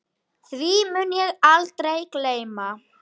Því mun ég aldrei gleyma.